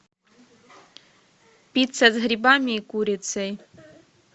пицца с грибами и курицей